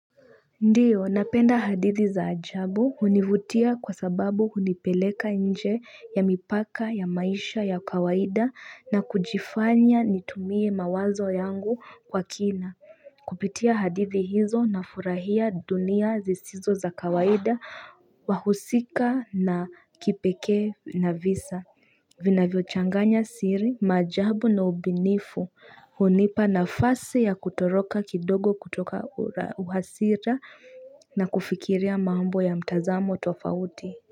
Ndiyo napenda hadithi za ajabu hunivutia kwa sababu hunipeleka nje ya mipaka ya maisha ya kawaida na kujifanya nitumie mawazo yangu kwa kina kupitia hadithi hizo na furahia dunia zisizo za kawaida wahusika na kipeke na visa vinavyo changanya siri, maajabu na ubinifu, unipa nafasi ya kutoroka kidogo kutoka uhasira na kufikiria maambo ya mtazamo tofauti.